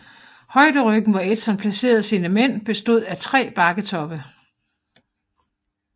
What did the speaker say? Højderyggen hvor Edson placerede sine mænd bestod af tre bakketoppe